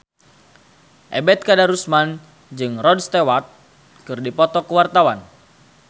Ebet Kadarusman jeung Rod Stewart keur dipoto ku wartawan